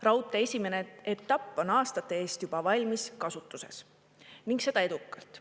Raudtee esimene etapp on aastate eest juba valmis kasutuses ning seda edukalt.